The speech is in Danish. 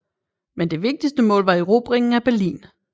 Men det vigtigste mål var erobringen af Berlin